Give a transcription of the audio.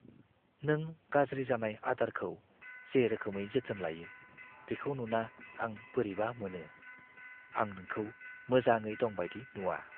नों गाज्रि जानाय आदारखौ जे रोखोमै जोथोन लायो, बेखौ नुना आं बोरैबा मोनो। आं नोंखौ मोजाङै दं बायदि नुआ।